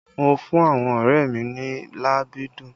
Mo fún àwọn ọrẹ mi ní làbídùn